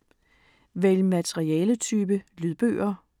Vælg materialetype: lydbøger